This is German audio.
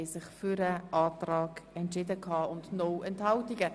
Ich wünsche Ihnen einen guten Appetit.